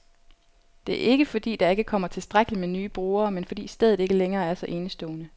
Det er ikke, fordi der ikke kommer tilstrækkeligt med nye brugere, men fordi stedet ikke længere er så enestående.